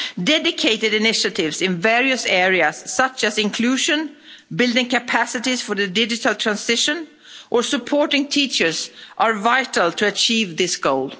Dedicated initiatives in various areas, such as inclusion, building capacities for the digital transition or supporting teachers are vital to achieve this goal.